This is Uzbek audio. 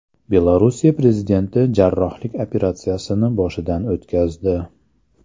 Belorussiya prezidenti jarrohlik operatsiyasini boshidan o‘tkazdi.